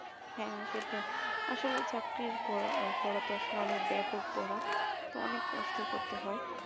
হ্যাঁ সেটাই আসলে পড়া চাকরি পড়াশোনাটা অনেক ব্যাপক করা তো অনেক কষ্ট করতে হয়